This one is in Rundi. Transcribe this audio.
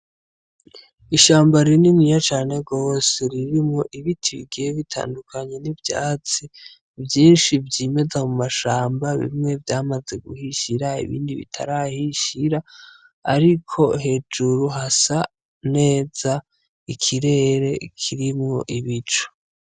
Ishamba rinini ya cane gose ririmwo ibiti bigiye bitandukanye n'ivyatsi vyinshi vy'imeza mu mashamba bimwe vyamaze guhishira ibindi bitarahishira, ariko hejuru ha sa neza ikirere kirimwo ibico.